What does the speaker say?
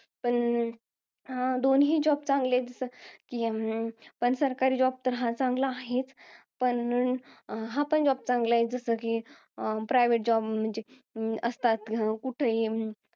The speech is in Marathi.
पण, हा दोन्हीही Job चांगले आहेत. सरकारी job हा तर चांगला आहेच. पण हा पण job चांगला आहे. जसं कि, private job असतात. कुठेही,